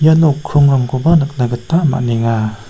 ia nok krongrangkoba nikna gita man·enga.